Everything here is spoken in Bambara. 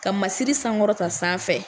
Ka masiri sankɔrɔta san fɛ.